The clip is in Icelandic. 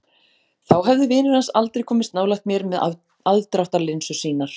Þá hefðu vinir hans aldrei komist nálægt mér með aðdráttarlinsur sínar.